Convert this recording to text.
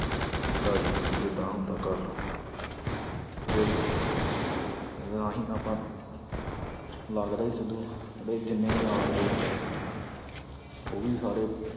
ਵੀ ਆ ਜਾਓ ਜਿੱਦਾਂ ਹੁੰਦਾ ਕਰ ਲਓ ਫਿਰ ਆਹੀ ਆਪਾਂ ਸਿੱਧੂ ਦੇ ਜਿੰਨੇ ਯਾਰ ਦੋਸਤ ਆ ਉਹ ਵੀ ਸਾਰੇ